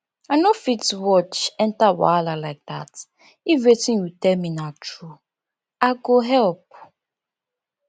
i no fit watch enter wahala like dat if wetin you tell me na through i go help